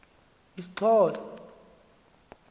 isxhosa